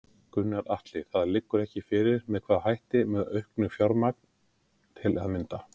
Gunnar Atli: Það liggur ekki fyrir með hvaða hætti, með auknu fjármagn til að mynda?